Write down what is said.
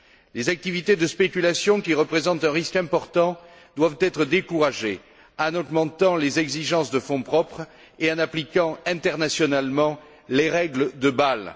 Les activités de spéculation, qui représentent un risque important, doivent être découragées en augmentant les exigences de fonds propres et en appliquant internationalement les règles de Bâle.